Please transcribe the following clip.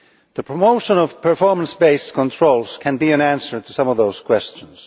The promotion of performance based controls can be an answer to some of those questions.